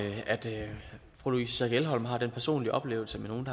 fru louise schack elholm har den personlige oplevelse med nogle